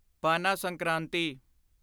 Pana Sankranti